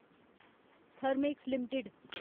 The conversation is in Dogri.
Thermax limited